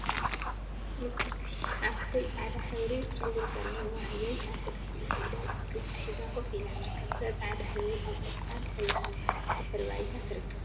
ምቅርቲ ! ሓፍተይ ፃዕዳ ሕብሪ ጨጉሪ ዘለዋ ህበይ አብ ክልቲኡ ኢዳ ቅጫ ሒዛ ኮፍ ኢላ ትርከብ። እዛ ፃዕዳ ህበይ አብ ቆፃል ሕብሪ ድሕረ ባይታ ትርከብ።